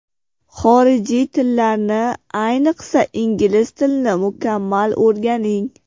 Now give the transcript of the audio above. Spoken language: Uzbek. Xorijiy tillarni, ayniqsa ingliz tilini mukammal o‘rganing.